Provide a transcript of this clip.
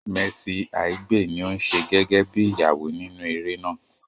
Mercy Aigbe ní ò ń ṣe gẹ́gẹ́ bí Ìyàwó nínú eré náà